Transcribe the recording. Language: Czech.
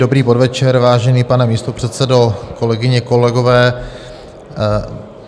Dobrý podvečer, vážený pane místopředsedo, kolegyně, kolegové.